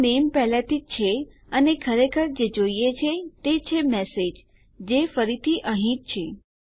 આમ નામે પહેલાથી જ છે અને ખરેખર જે જોઈએ છે તે છે મેસેજ જે ફરીથી અહીં જ છે